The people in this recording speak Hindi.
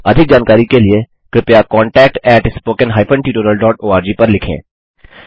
अधिक जानकारी के लिए कृपया contactspoken tutorialorg पर लिखें